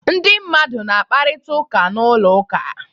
Ndị mmadụ na-akparịta ụka n'ụlọ ụka.